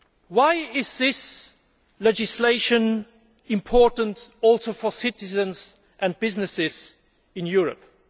Why is this legislation also important for citizens and businesses in Europe?